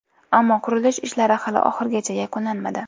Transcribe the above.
Ammo qurilish ishlari hali oxirigacha yakunlanmadi.